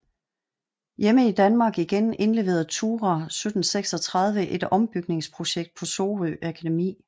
Hjemme i Danmark igen indleverede Thurah 1736 et ombygningsprojekt på Sorø Akademi